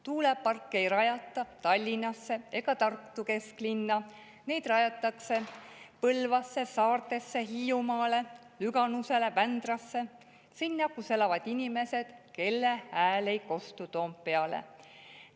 Tuuleparke ei rajata Tallinnasse ega Tartu kesklinna, neid rajatakse Põlvasse, Saardesse, Hiiumaale, Lüganusele, Vändrasse – sinna, kus elavad inimesed, kelle hääl ei kostu Toompeale.